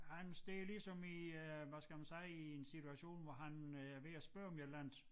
Han står ligesom i øh hvad skal man sige i en situation hvor han øh er ved at spørge om et eller andet